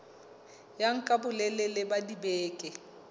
ya nka bolelele ba dibeke